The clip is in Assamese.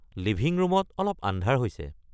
লিভিং ৰুমত অলপ আন্ধাৰ হৈছে